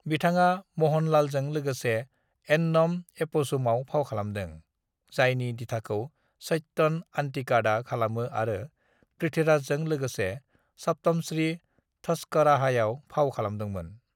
"बिथाङा मोहनलालजों लोगोसे एन्नम एप'झुमआव फाव खालादों, जायनि दिथाखौ सत्यन अन्तिकाडआ खालामो आरो पृथ्वीराजजों लोगोसे सप्तमश्री थस्कराहायाव फाव खालामदोंमोन।"